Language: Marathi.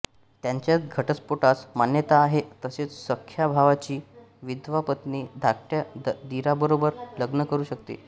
त्यांच्यात घटस्फोटास मान्यता आहे तसेच सख्ख्या भावाची विधवा पत्नी धाकट्या दिराबरोबर लग्न करू शकते